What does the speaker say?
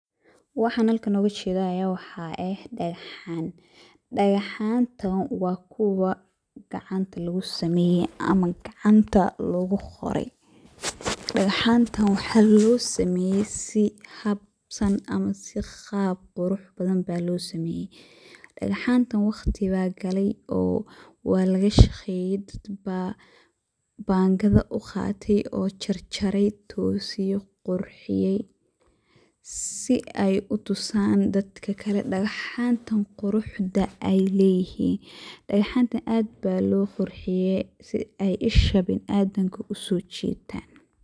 Waxan halkan ogajeda aya waxa eeh dagaxan. Dagaxanta wa kuwa gacanta lugusameye ama kuwa gacanta luguqoray, dagaxanta waxa losameye si habsan ama sii qaab qurux badan aya losameye. Dagaxanta waqti aya galay oo walashaqeye oo dad baa bangada uqatay oo jarjarey tosiyey qurxiyey sii ey utusan dadka kale dagaxanta quruxda ay leyihin, dagaxanta aad aya loqurxiye sii ey isha biniadanka usojitan.